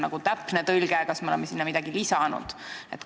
Kas see on täpne tõlge või me oleme sinna midagi lisanud?